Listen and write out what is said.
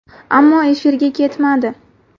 Ammo efirga ketmadi.